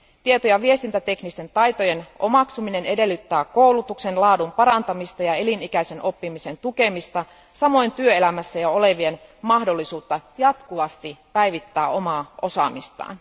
Tieto ja viestintäteknisten taitojen omaksuminen edellyttää koulutuksen laadun parantamista ja elinikäisen oppimisen tukemista, samoin työelämässä jo olevien mahdollisuutta jatkuvasti päivittää omaa osaamistaan.